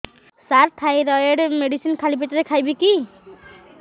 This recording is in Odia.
ସାର ଥାଇରଏଡ଼ ମେଡିସିନ ଖାଲି ପେଟରେ ଖାଇବି କି